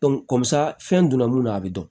kɔmi sa fɛn donna mun na a bɛ dɔn